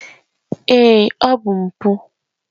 Èé! ọ bụ mpụ